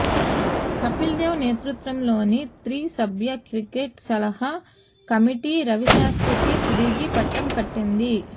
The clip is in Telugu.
కపిల్దేవ్ నేతృత్వంలోని త్రి సభ్య క్రికెట్ సలహా కమిటీ రవిశాస్త్రికే తిరిగి పట్టం కట్టింది